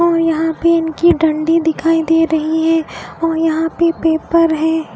और यहाँ पेन की डंडी दिखाई दे रही है और यहाँ पे पेपर है।